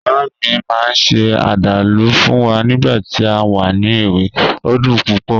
Mama mi maa n se adalu fun wa nigba ti a wa ni ewe, o dun pupo